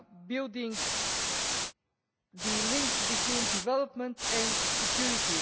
building links between development and security